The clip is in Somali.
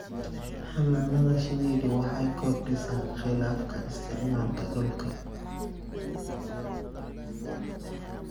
Xannaanada shinnidu waxay kordhisaa khilaafka isticmaalka dhulka.